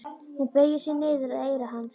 Hún beygir sig niður að eyra hans.